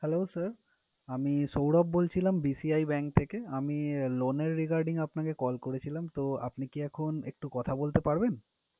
Hello, sir আমি সৌরভ বলছিলাম BCI Bank থেকে। আমি loan এর regarding এ আপনাকে call করেছিলাম, তো আপনি কি এখন একটু কথা বলতে পারবেন?